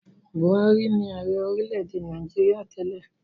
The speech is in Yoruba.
Buhari ni ààrẹ orílẹ̀-èdè Nàìjíríà tẹ́lẹ̀.